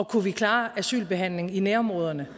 kunne vi klare asylbehandlingen i nærområderne